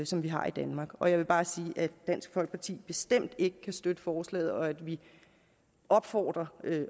som vi har i danmark og jeg vil bare sige at dansk folkeparti bestemt ikke kan støtte forslaget og at vi opfordrer